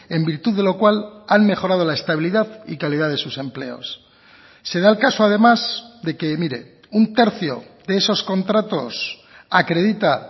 en virtud de lo cual han mejorado la estabilidad y calidad de sus empleos se da el caso además de que mire un tercio de esos contratos acredita